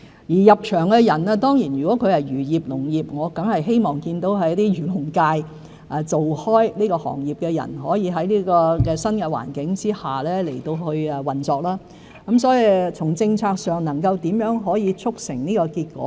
而入場的人如果是從事漁業、農業——我當然希望見到一直從事漁農業的人可在新環境下運作業務，我會認真考慮如何從政策上促成這結果。